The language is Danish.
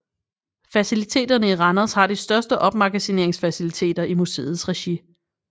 Faciliteterne i Randers har de største opmagasineringsfaciliteter i museets regi